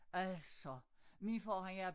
Altså min far han er